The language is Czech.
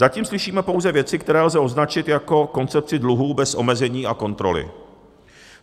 Zatím slyšíme pouze věci, které lze označit jako koncepci dluhů bez omezení a kontroly.